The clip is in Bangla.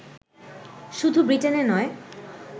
শুধু ব্রিটেনে নয়